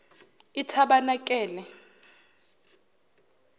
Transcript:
itabanakele